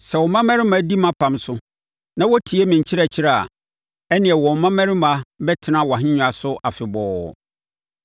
Sɛ wo mmammarima di mʼapam so na wɔtie me nkyerɛkyerɛ a, ɛnneɛ wɔn mmammarima bɛtena wʼahennwa so afebɔɔ.”